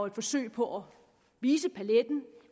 et forsøg på at vise paletten